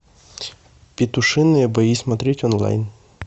петушиные бои смотреть онлайн